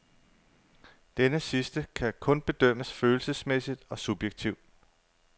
Denne sidste kan kun bedømmes følelsesmæssigt og subjektivt.